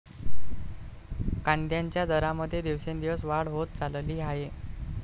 कांद्याच्या दरामध्ये दिवसेंदिवस वाढ होत चालली आहे.